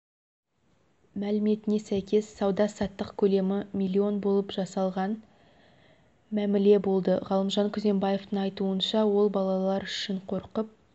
мәліметіне сәйкес сауда-саттық көлемі миллион болып жасалған мәміле болды ғалымжан күзембаевтың айтуынша ол балалар үшін қорқып